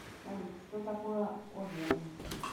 салют что такое овернь